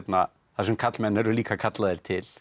þar sem karlmenn eru líka kallaðir til